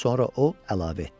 Sonra o əlavə etdi.